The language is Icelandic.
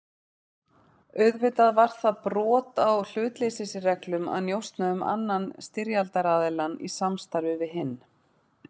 Auðvitað var það brot á hlutleysisreglum að njósna um annan styrjaldaraðiljann í samstarfi við hinn.